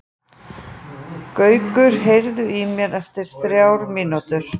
Gaukur, heyrðu í mér eftir þrjár mínútur.